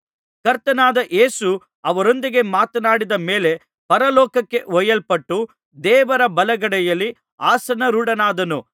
ಕರ್ತನಾದ ಯೇಸು ಅವರೊಂದಿಗೆ ಮಾತನಾಡಿದ ಮೇಲೆ ಪರಲೋಕಕ್ಕೆ ಒಯ್ಯಲ್ಪಟ್ಟು ದೇವರ ಬಲಗಡೆಯಲ್ಲಿ ಆಸನಾರೂಢನಾದನು